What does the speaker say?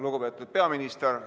Lugupeetud peaminister!